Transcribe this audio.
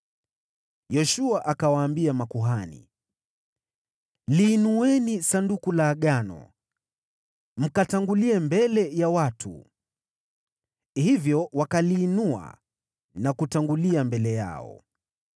Yoshua akawaambia makuhani, “Liinueni Sanduku la Agano mkatangulie mbele ya watu.” Hivyo wakaliinua na kutangulia mbele yao.